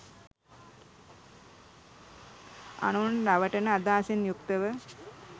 අනුන් රවටන අදහසින් යුක්තව